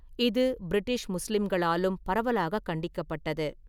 இது பிரிட்டிஷ் முஸ்லிம்களாலும் பரவலாக கண்டிக்கப்பட்டது.